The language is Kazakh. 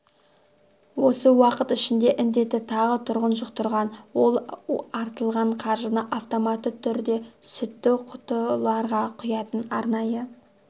осы уақыт ішінде індетті тағы тұрғын жұқтырған ал артылған қаржыны автоматты түрде сүтті құтыларға құятын арнайы